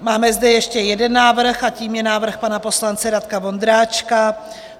Máme zde ještě jeden návrh, a tím je návrh pana poslance Radka Vondráčka.